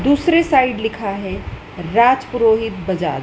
दूसरी साइड लिखा है राजपुरोहित बाजार--